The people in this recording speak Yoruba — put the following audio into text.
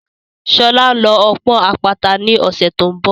Sọlá ń lọ ọ́ pọ́n àpáta ni ọ̀sẹ̀ tó ń bọ̀